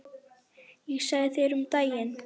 Ég sagði þér það um daginn.